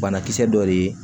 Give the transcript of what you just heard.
Banakisɛ dɔ de ye